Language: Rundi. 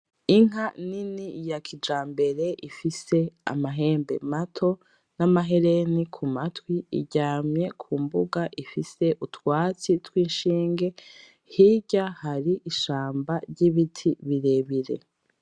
Inka nini ya kijambere ifise amahembe mato n’amahereni ku matwi, iryamye ku mbuga ifise utwatsi tw’inshinge, hirya hari ishamba ry’ibiti birebire.